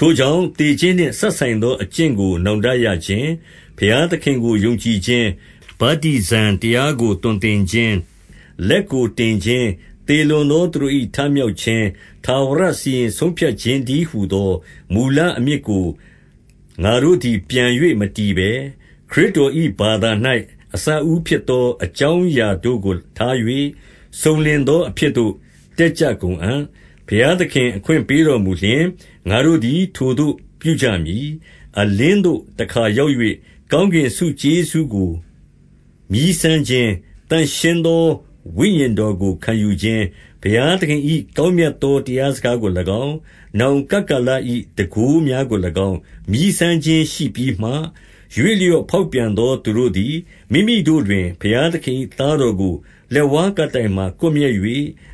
ထိုကြောင့်၊ သေခြင်းနှင့်စပ်ဆိုင်သော အကျင့်ကို နောင်တရခြင်း၊ ဘုရားသခင်ကို ယုံကြည်ခြင်း၊ ဗတ္တိဇံ တရားကိုသွန်သင်ခြင်း၊ လက်ကိုတင်ခြင်း၊ သေလွန်သော သူတို့၏ထမြောက်ခြင်း၊ ထာဝရစီရင် ဆုံးဖြတ်ခြင်းတည်းဟူသော မူလအမြစ်ကို ငါတို့သည် ပြန်၍ မတည်ဘဲ၊ 2 ခရစ်တော်၏ဘာသာ၌ အစအဦးဖြစ် သော အကြောင်းအရာတို့ကိုထား၍၊ စုံလင်သောအဖြစ် သို့ တက်ကြကုန်အံ့။ 3 ဘုရားသခင်အခွင့်ပေးတော်မူလျှင်၊ ငါတို့သည် ထိုသို့ပြုကြမည်။ 4 အလင်းသို့တခါရောက်၍ ကောင်းကင်ဆုကျေးဇူးကို မြည်းစမ်းခြင်း၊ သန့်ရှင်းသော ဝိညာဉ်တော် ကိုခံယူခြင်း၊ 5 ဘုရားသခင်၏ ကောင်းမြတ်သော တရားစကားကို၎င်း၊ နောင်ကပ်ကာလ၏ တန်ခိုးများကို၎င်း၊ မြည်းစမ်းခြင်းရှိပြီးမှ၊ 6 ရွေ့လျော့ဖေါက်ပြန်သောသူတို့သည်၊ မိမိတို့တွင် ဘုရားသခင်၏သားတော်ကို လက်ဝါးကပ်တိုင်မှာ ကွပ်မျက်၍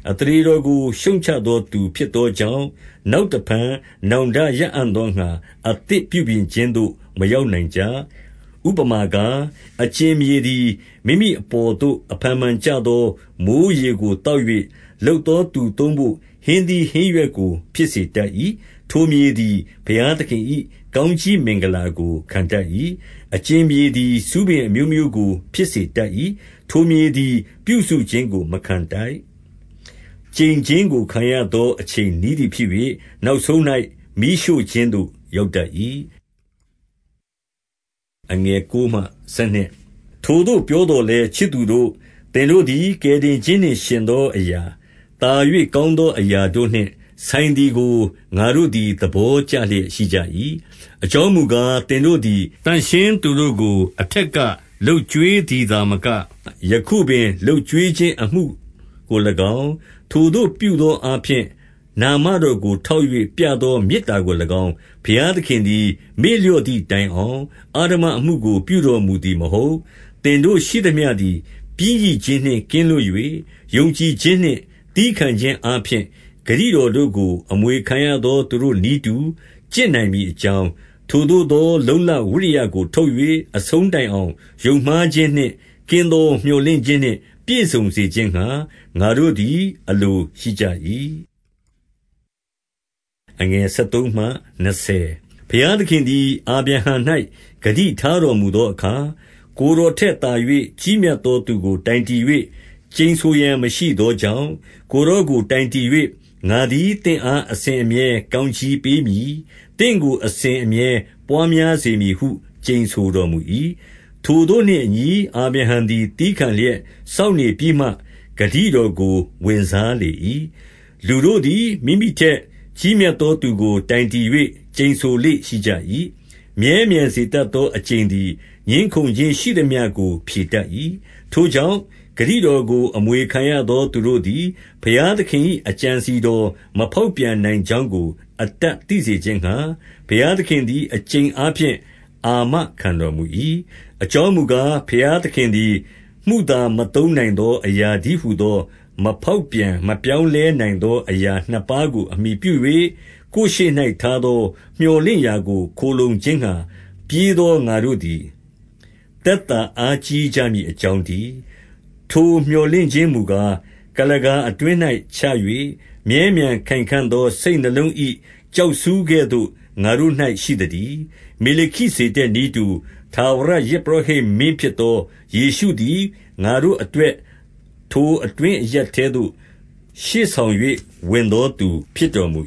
အသရေတော်ကို ရှုတ်ချသောသူဖြစ်သောကြောင့်၊ နောက်တဖန်နောင်တရအံ့သောငှါ အသစ် ပြုပြင်ခြင်းသို့ မရောက်နိုင်ကြ။ 7 ဥပမာကား၊ အကြင်မြေသည် မိမိအပေါ်သို့အဖန်ဖန်ကျသော မိုဃ်းရေကိုသောက်၍၊ လုပ်သော သူသုံးဘို့ ဟင်းသီးဟင်းရွက်ကို ဖြစ်စေတတ်၏။ ထိုမြေသည် ဘုရားသခင်၏ ကောင်းကြီးမင်္ဂလာကို ခံတတ်၏။ 8 အကြင်မြေသည် ဆူးပင်အမျိုးမျိုးကိုဖြစ်စေတတ်၏။ ထိုမြေသည် ပြုစုခြင်းကိုမခံထိုက်။ ကျိန်ခြင်းကို ခံရသော အချိန်နီးသည် ဖြစ်၍၊ နောက်ဆုံး၌ မီးရှို့ခြင်းသို့ ရောက်တတ်၏။ 9 ထိုသို့ပြောသော်လည်း၊ ချစ်သူတို့၊ သင်တို့သည် ကယ်တင်ခြင်းနှင့် ယှဉ်သောအရာ၊ သာ၍ကောင်းသောအရာတို့နှင့် ဆိုင်သည်ကို၊ ငါတို့သည် သဘောကျလျက်ရှိကြ၏။ 10 အကြောင်းမူကား၊ သင်တို့သည် သန့်ရှင်းသူတို့ကို အထက်က လုပ်ကျွေးသည်သာမက၊ ယခုပင် လုပ် ကျွေးခြင်းအမှုကို၎င်း၊ ထိုသို့ပြုသောအားဖြင့် နာမတော်ကိုထောက်၍ ပြသောမေတ္တာကို၎င်း၊ ဘုရားသခင်သည် မေ့လျော့သည်တိုင်အောင် အဓမ္မအမှုကို ပြုတော်မူသည်မဟုတ်။ 11 သင်တို့ရှိသမျှသည် ပျင်းရိခြင်းနှင့် ကင်းလွတ်၍၊ ယုံကြည်ခြင်းနှင့် သည်းခံခြင်းအားဖြင့် ဂတိတော် တို့ကို အမွေခံရသောသူတို့ နည်းတူကျင့်နိုင်မည်အကြောင်း၊ 12 ထိုသို့သော လုံ့လဝိရိယကို ထုတ်၍၊ အဆုံးတိုင်အောင် ယုံမှားခြင်းနှင့်ကင်းသော မြော်လင့်ခြင်းနှင့် ပြည့်စုံစေခြင်းငှါ ငါတို့သည် အလိုရှိကြ၏။ 13 ဘုရားသခင်သည် အာဗြဟံ၌ ဂတိထားတော်မူသောအခါ၊ ကိုယ်တော်ထက်သာ၍ ကြီးမြတ်သောသူကို တိုင်တည်၍ ကျိန်ဆိုရန် မရှိသောကြောင့်၊ ကိုယ်တော်ကို တိုင်တည်၍၊ 14 ငါသည်သင့်အား အစဉ်အမြဲကောင်းကြီးပေးမည်။ သင့်ကို အစဉ်အမြဲပွါးများစေမည်ဟု ကျိန်ဆို တော်မူ၏။ 15 ထိုသို့နှင့်အညီအာဗြဟံသည် သည်းခံလျက် စောင့်နေပြီးမှ၊ ဂတိတော်ကိုဝင်စားလေ၏။ 16 လူတို့သည် မိမိထက်ကြီးမြတ်သောသူကို တိုင်တည်၍ ကျိန်ဆိုလေ့ရှိကြ၏။ မြဲမြံစေတတ်သော အကျိန်သည် ငြင်းခုံခြင်းရှိသမျှကို ဖြေတတ်၏။ 17 ထိုကြောင့်၊ ဂတိတော်ကို အမွေခံရသောသူတို့သည်၊ ဘုရားသခင်၏ အကြံအစည်တော်မဖေါက်ပြန်နိုင် ကြောင်းကို အတပ်သိစေခြင်းငှါ၊ ဘုရားသခင်သည် အကျိန်အားဖြင့် အာမခံတော်မူ၏။ 18 အကြောင်းမူကား၊ ဘုရားသခင်သည် မုသာမသုံးနိုင်သော အရာတည်းဟူသော မဖောက်ပြန် မပြောင်းလဲနိုင်သော အရာနှစ်ပါးကို အမှီပြု၍၊ ကိုယ်ရှေ့၌ထားသော မြော်လင့်ရာကို ခိုလှုံခြင်းငှါ ပြေးသော ငါတို့သည် သက်သာအားကြီးကြမည်အကြောင်းတည်း။ 19 ထိုမြော်လင့်ခြင်းမူကား၊ ကုလားကာအတွင်း၌ချ၍ မြဲမြံခိုင်ခံ့သော စိတ်နှလုံး၏ကျောက်ဆူးကဲ့သို့ ငါတို့၌ရှိသတည်း။ 20 မေလခိဇေဒက်နည်းတူ ထာဝရယဇ်ပုရောဟိတ်မင်း ဖြစ်သော ယေရှုသည်၊ ငါတို့အတွက်၊ ထိုအတွင်း အရပ်ထဲသို့ ရှေ့ဆောင်၍ ဝင်သောသူဖြစ်တော်မူ